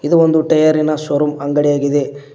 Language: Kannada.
ಇದು ಒಂದು ಟೈಯ ರಿನ ಶೋರೂಮ್ ಅಂಗಡಿಯಾಗಿದೆ.